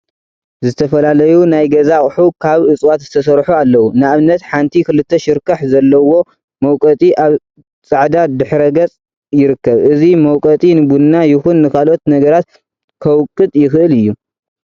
ዝተፈላለዩ ናይ ገዛ አቁሑ ካብ እፅዋት ዝተሰርሑ አለው፡፡ ንአብነት ሓንቲ ክልተ ሽርካሕ ዘለዎ መውቀጢ አብ ፃዕዳ ድሕረ ገፅ ይርከብ፡፡ እዚ መውቀጢ ንቡና ይኩን ንካለኦት ነገራት ከውቅጥ ይክእል እዩ፡፡